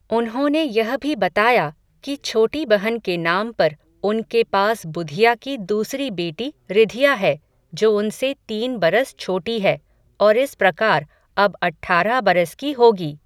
उन्होंने यह भी बताया, कि छोटी बहन के नाम पर, उनके पास बुधिया की दूसरी बेटी, रिधिया है, जो उनसे तीन बरस छोटी है, और इस प्रकार, अब अठारह बरस की होगी